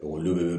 Olu bɛ